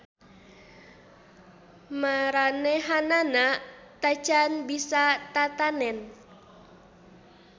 Maranehanana tacan bisa tatanen.